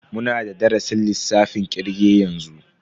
Muna da darasin lissafin kirge yanzu.